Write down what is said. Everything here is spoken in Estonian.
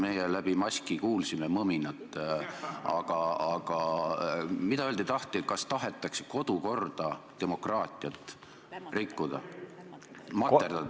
Me läbi maski kuulsime mõminat, aga mida öelda taheti, kas tahetakse kodukorda, demokraatiat rikkuda, materdada?